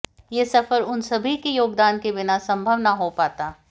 यह सफर उन सभी के योगदान के बिना संभव न हो पाता